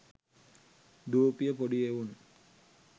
දුවපිය පොඩි එවුන්